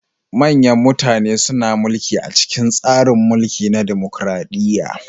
Manyan mutane suna mulki a cikin tsarin mulki na dimokuradiyya.